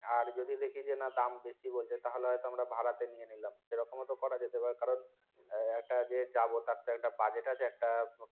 আর যদি দেখি যে দাম বেশি বলছে তাহলে হয়তো আমরা ভাড়াতে নিয়ে নিলাম সেরকমও তো করা যেতে পারে কারণ একা যে যাবো তার তো একটা budget আছে একটা